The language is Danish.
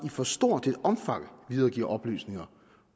i for stort et omfang videregiver oplysninger